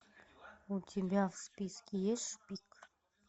у тебя в списке есть шпик